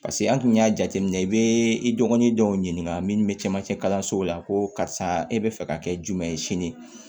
Paseke an tun y'a jateminɛ i bɛ i dɔgɔnin dɔw ɲininka minnu bɛ camancɛ kalansow la ko karisa e bɛ fɛ ka kɛ jumɛn ye sini